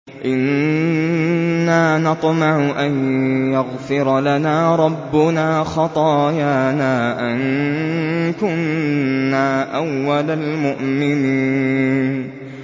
إِنَّا نَطْمَعُ أَن يَغْفِرَ لَنَا رَبُّنَا خَطَايَانَا أَن كُنَّا أَوَّلَ الْمُؤْمِنِينَ